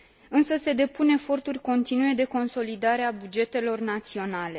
Însă se depun eforturi continue de consolidare a bugetelor naționale.